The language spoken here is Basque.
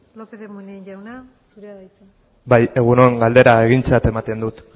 lópez de munain jauna zurea da hitza bai egun on galdera egintzat ematen dut